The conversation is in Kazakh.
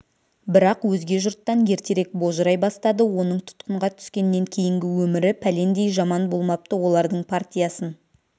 бірақ өзге жұрттан ертерек божырай бастады оның тұтқынға түскеннен кейінгі өмірі пәлендей жаман болмапты олардың партиясын